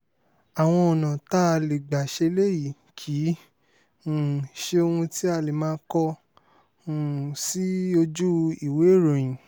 àwọn ọ̀nà tá a lè gbà ṣe eléyìí kì í um ṣe ohun tí a lè máa kọ um sí ojú ìwééròyìn